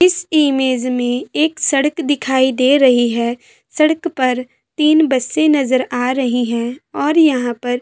इस इमेंज में एक सड़क दिखाई दे रही है सड़क पर तीन बसे नजर आ रही है और यहाँ पर--